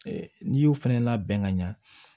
N'i y'o fɛnɛ labɛn ka ɲa